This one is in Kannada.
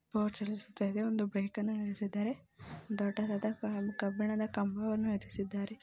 ಗೋಚರಿಸುತ್ತದೆ ಒಂದು ಬೈಕನ್ನುನಿಲ್ಲಿಸಿದ್ದಾರೆ ದೊಡ್ಡದಾದ ಕಬ್ಬಿಣದ ಕಂಬವನ್ನು ನಟಿಸಿದ್ದಾರೆ.